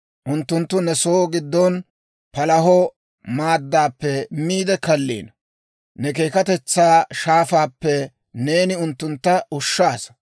Unttunttu ne soo gidon palaho maaddappe miide kalliino; ne keekkatetsaa shaafaappe neeni unttuntta ushshaasa.